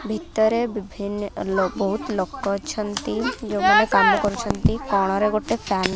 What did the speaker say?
ଭିତରେ ବିଭିନ୍ନ ଲୋ ବହୁତ୍ ଲୋକ ଅଛନ୍ତି ଯୋଉମାନେ କାମ କରୁଛନ୍ତି କଣରେ ଗୋଟେ ଫ୍ୟାନ୍ --